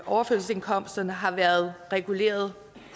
overførselsindkomsterne har været reguleret